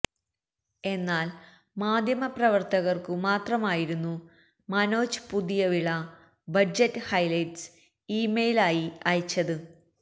എന്നാല് മാധ്യമപ്രവര്ത്തകര്ക്കു മാത്രമായിരുന്നു Manoj Puthiyavila budget highlights email ആയി അയച്ചത്